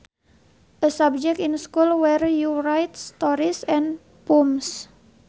A subject in school where you write stories and poems